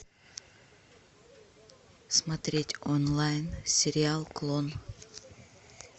смотреть онлайн сериал клон